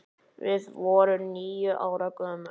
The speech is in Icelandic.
Við vorum níu ára gömul.